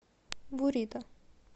бурито